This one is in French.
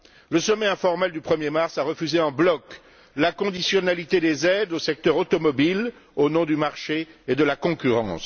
Le sommet informel du 1er mars a refusé en bloc la conditionnalité des aides au secteur automobile, au nom du marché et de la concurrence.